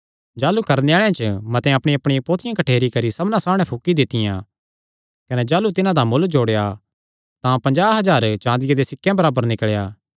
जादू करणे आल़ेआं च मतेआं अपणियांअपणियां पोथियां कठ्ठेरी करी सबना सामणै फुकी दित्तियां कने जाह़लू तिन्हां दा मुल्ल जोड़ेया तां पजांह़ हज़ार चाँदिया देयां सिक्केयां बराबर निकल़ेया